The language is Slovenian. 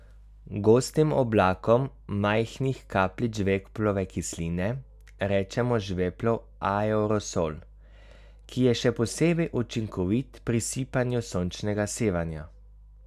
Gostim oblakom majhnih kapljic žveplove kisline rečemo žveplov aerosol, ki je še posebej učinkovit pri sipanju sončnega sevanja.